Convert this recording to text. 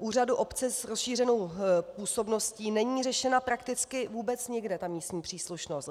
úřadu obce s rozšířenou působností - není řešena prakticky vůbec nikde, ta místní příslušnost.